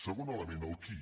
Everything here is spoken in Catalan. segon element el qui